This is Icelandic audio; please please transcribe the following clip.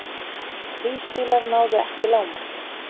Þrír bílar náðu ekki lágmarki